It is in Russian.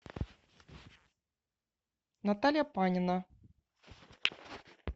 наталья панина